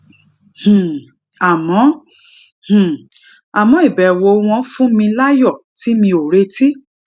um àmó um àmó ìbèwò wọn fún mi láyò tí mi ò retí